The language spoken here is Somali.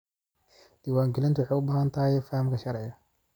Diiwaangelintu waxay u baahan tahay fahamka sharciga.